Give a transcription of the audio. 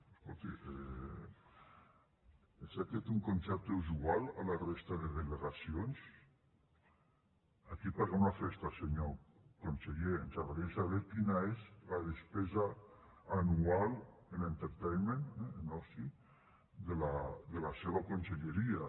escolti és aquest un concepte usual a la resta de delegacions a qui paguem la festa senyor conseller ens agradaria saber quina és la despesa anual en entertainment en oci de la seva conselleria